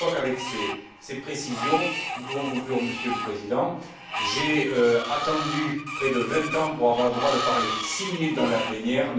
Je crois qu'avec ces précisions, nous pouvons conclure, Monsieur le Président. J'ai attendu près de vingt ans pour avoir le droit de parler six minutes en plénière.